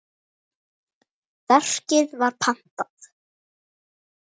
Verkið var pantað.